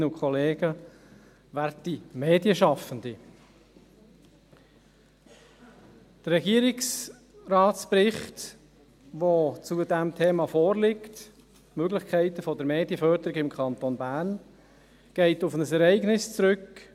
Der zu diesem Thema vorliegende Regierungsratsbericht über die Möglichkeiten der Medienförderung durch den Kanton Bern geht auf ein Ereignis im Jahr 2017 zurück.